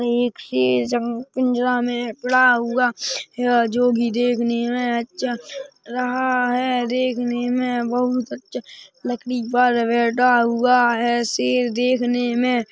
ये एक शेर जंग पिंजरा में उड़ा हुआ है जो के देखने में अच्छा रहा है देखने में बहुत अच्छा लकड़ी पर बैठा हुआ है शेर देखने में--